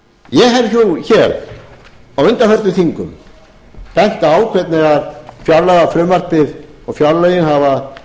ég hef jú hér á undanförnum þingum bent á hvernig fjárlagafrumvarpið og fjárlögin hafa